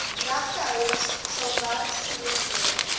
regtehouers sal werksgeleenthede